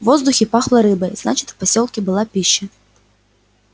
в воздухе пахло рыбой значит в посёлке была пища